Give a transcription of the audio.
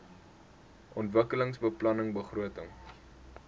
ontwikkelingsbeplanningbegrotings